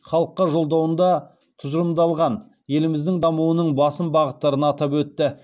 халыққа жолдауында тұжырымдалған еліміздің дамуының басым бағыттарын атап өтті